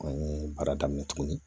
An ye baara daminɛ tuguni